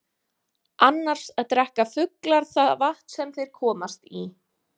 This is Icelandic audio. Annars drekka fuglar það vatn sem þeir komast í.